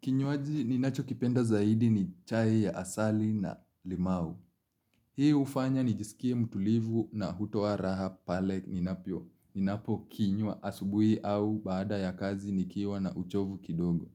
Kinywaji ninachokipenda zaidi ni chai ya asali na limau. Hii hufanya nijisikie mtulivu na hutoa raha pale ninavyo. Ninapokinywa asubuhi au baada ya kazi nikiwa na uchovu kidogo.